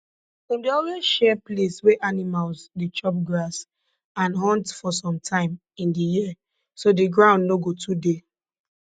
dem dey always share place wey animals dey chop grass and hunt for some time in di year so di ground no go too dey